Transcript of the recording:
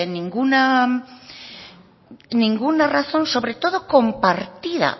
ninguna razón sobre todo compartida